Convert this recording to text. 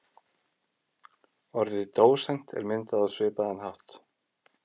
Orðið dósent er myndað á svipaðan hátt.